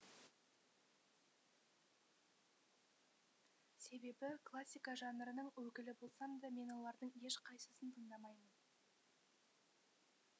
себебі классика жанрының өкілі болсам да мен олардың ешқайсысын тыңдамаймын